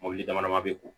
Mɔbili dama dama be ko